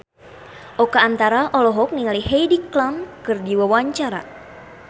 Oka Antara olohok ningali Heidi Klum keur diwawancara